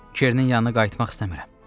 Kerenin yanına qayıtmaq istəmirəm.